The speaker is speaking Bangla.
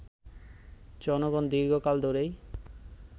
জনগণ দীর্ঘকাল ধরেই